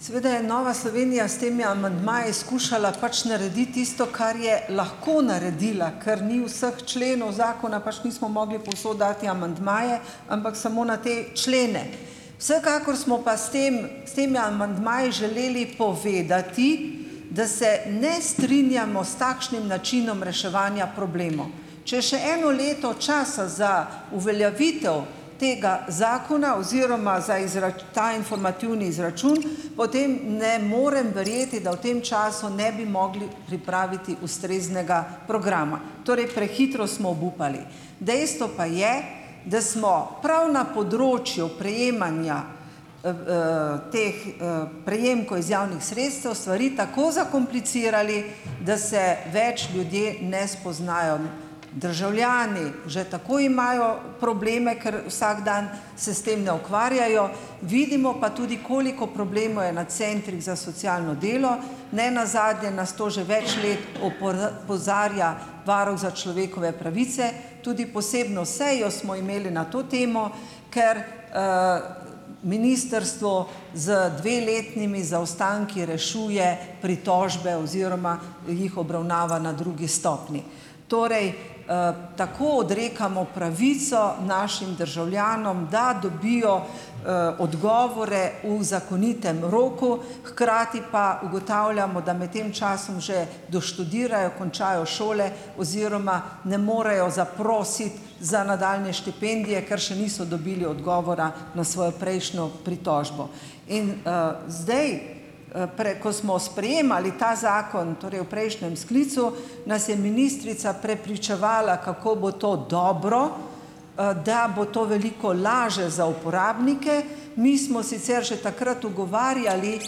Seveda je Nova Slovenija s temi amandmaji skušala pač narediti tisto, kar je lahko naredila, ker ni vseh členov zakona, pač nismo mogli povsod dati amandmaje, ampak samo na te člene. Vsekakor smo pa s tem temi amandmaji želeli povedati, da se ne strinjamo s takšnim načinom reševanja problemov. Če še eno leto časa za uveljavitev tega zakona oziroma za ta informativni izračun, potem ne morem verjeti, da v tem času ne bi mogli pripraviti ustreznega programa. Torej, prehitro osmo obupali. Dejstvo pa je, da smo prav na področju prejemanja teh prejemkov iz javnih sredstev stvari tako zakomplicirali, da se več ljudje ne spoznajo. Državljani že tako imajo probleme, ker vsak dan se s tem ne ukvarjajo, vidimo pa tudi, koliko problemov je na centrih za socialno delo. Ne nazadnje nas to že več let opozarja Varuh za človekove pravice. Tudi posebno sejo smo imeli na to temo, ker ministrstvo z dveletnimi zaostanki rešuje pritožbe oziroma jih obravnava na drugi stopnji. Torej, tako odrekamo pravico našim državljanom, da dobijo odgovore v zakonitem roku, hkrati pa ugotavljamo, da med tem času že doštudirajo, končajo šole oziroma ne morejo zaprositi za nadaljnje štipendije, ker še niso dobili odgovora na svojo prejšnjo pritožbo. In zdaj, ko smo sprejemali ta zakon, torej v prejšnjem sklicu, nas je ministrica prepričevala, kako bo to dobro, da bo to veliko lažje za uporabnike. Mi smo sicer že takrat ugovarjali,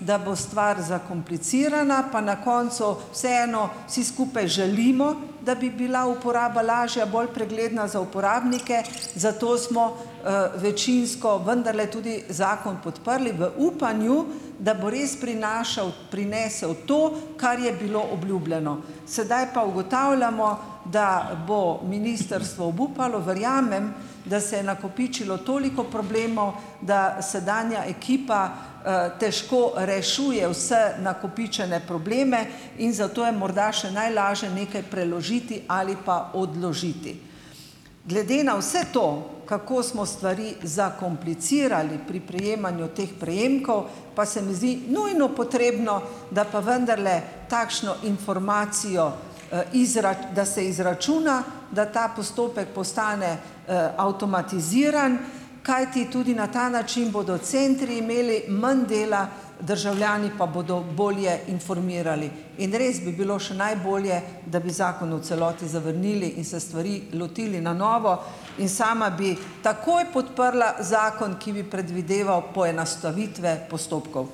da bo stvar zakomplicirana, pa na koncu vseeno vsi skupaj želimo, da bi bila uporaba lažja, bolj pregledna za uporabnike, zato smo večinsko vendarle tudi zakon podprli v upanju, da bo res prinašal prinesel to, kar je bilo obljubljeno. Sedaj pa ugotavljamo, da bo ministrstvo obupalo. Verjamem, da se je nakopičilo toliko problemov, da sedanja ekipa težko rešuje vse nakopičene probleme in zato je morda še najlaže nekaj preložiti ali pa odložiti. Glede na vse to, kako smo stvari zakomplicirali pri prejemanju teh prejemkov, pa se mi zdi nujno potrebno, da pa vendarle takšno informacijo, da se izračuna, da ta postopek postane avtomatiziran. Kajti, tudi na ta način bodo centri imeli manj dela, državljani pa bodo bolje informirali. In res bi bilo še najbolje, da bi zakon v celoti zavrnili in se stvari lotili na novo. In sama bi takoj podprla zakon, ki bi predvideval poenostavitve postopkov.